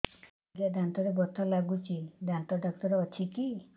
ଆଜ୍ଞା ଦାନ୍ତରେ ବଥା ଲାଗୁଚି ଦାନ୍ତ ଡାକ୍ତର ଅଛି କି